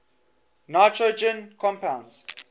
nitrogen compounds